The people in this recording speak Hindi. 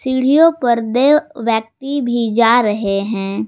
सीढ़ियों पर देव व्यक्ति भी जा रहे हैं।